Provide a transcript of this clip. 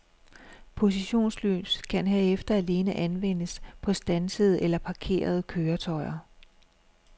Positionslys kan herefter alene anvendes på standsede eller parkerede køretøjer.